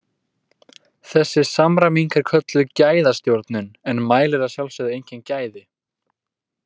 Þessi samræming er kölluð gæðastjórnun en mælir að sjálfsögðu engin gæði.